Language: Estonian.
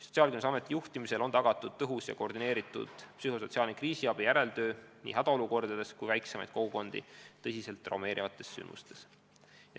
Sotsiaalkindlustusameti juhtimisel on tagatud tõhus ja koordineeritud psühhosotsiaalne kriisiabi järeltöö nii hädaolukordades kui ka väiksemaid kogukondi tõsiselt traumeerivates sündmustes.